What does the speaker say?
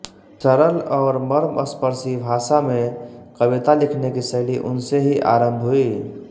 सरल और मर्मस्पर्शी भाषा में कविता लिखने की शैली उनसे ही आम्रभ हुई